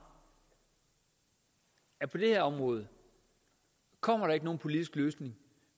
at på det her område kommer der ikke nogen politisk løsning